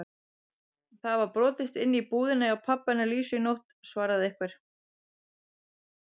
Það var brotist inn í búðina hjá pabba hennar Lísu í nótt svaraði einhver.